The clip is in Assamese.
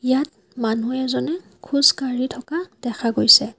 ইয়াত মানুহ এজনে খোজকাঢ়ি থকা দেখা গৈছে।